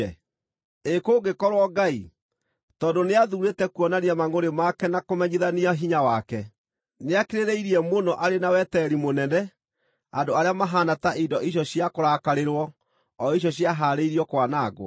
Ĩ kũngĩkorwo Ngai, tondũ nĩathuurĩte kuonania mangʼũrĩ make na kũmenyithania hinya wake, nĩakirĩrĩirie mũno arĩ na wetereri mũnene andũ arĩa mahaana to indo icio cia kũrakarĩrwo, o icio ciahaarĩirio kwanangwo?